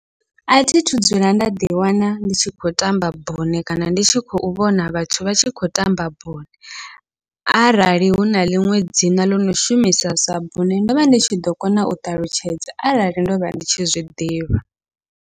Athi thu dzula nda ḓi wana ndi tshi khou tamba bune kana ndi tshi khou vhona vhathu vha tshi khou tamba bune, arali huna ḽiṅwe dzina ḽono shumisa sa bune ndovha ndi tshi ḓo kona u ṱalutshedza arali ndovha ndi tshi zwiḓivha.